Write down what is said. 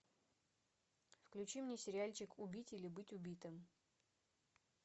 включи мне сериальчик убить или быть убитым